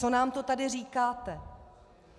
Co nám to tady říkáte?